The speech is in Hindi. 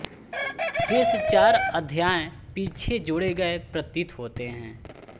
शेष चार अध्याय पीछे जोड़े गए प्रतीत होते हैं